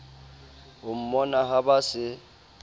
ho mmona ha ba se